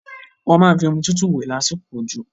Wọ́n máa fi omi tútù wẹ̀ lásìkò òjò.